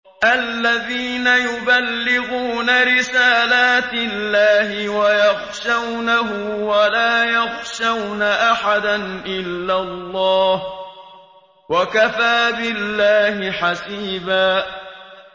الَّذِينَ يُبَلِّغُونَ رِسَالَاتِ اللَّهِ وَيَخْشَوْنَهُ وَلَا يَخْشَوْنَ أَحَدًا إِلَّا اللَّهَ ۗ وَكَفَىٰ بِاللَّهِ حَسِيبًا